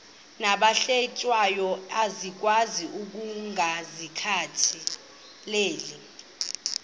nabahlehliyo asikwazi ukungazikhathaieli